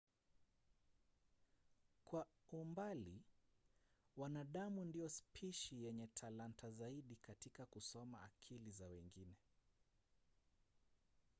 kwa umbali wanadamu ndio spishi yenye talanta zaidi katika kusoma akili za wengine